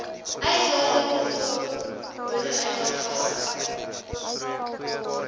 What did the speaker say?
uitlating bv motoruitlaatgasse